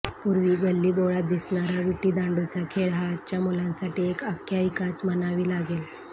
पूर्वी गल्लीबोळात दिसणारा विटीदांडूचा खेळ हा आजच्या मुलांसाठी एक आख्यायिकाच म्हणावी लागेल